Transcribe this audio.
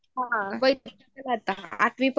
हान